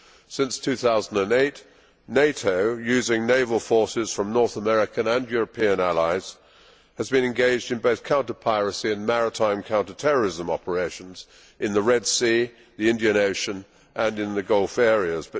Since 2008, NATO using naval forces from North American and European allies has been engaged in both counter piracy and maritime counter terrorism operations in the Red Sea, the Indian Ocean and in the Gulf areas.